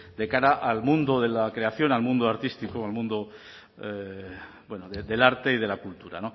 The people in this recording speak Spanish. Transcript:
de cara al mundo de la creación al mundo artístico o al mundo bueno del arte y de la cultura